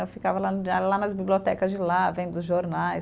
Eu ficava lá lá nas bibliotecas de lá, vendo os jornais.